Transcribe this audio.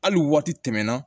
Hali waati tɛmɛna